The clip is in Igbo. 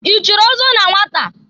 I chiri ọzọ na nwata?